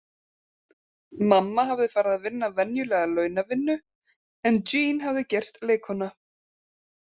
Mamma hafði farið að vinna venjulega launavinnu en Jeanne hafði gerst leikkona.